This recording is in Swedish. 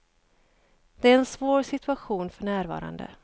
Det är en svår situation för närvarande.